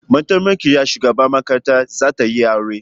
Mataimakiyar shugaban makaranta za tayi aure